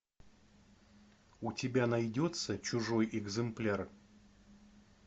у тебя найдется чужой экземпляр